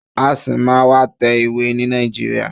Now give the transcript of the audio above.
A ṣì máa má tẹ ìwé ni Nàìjíríà.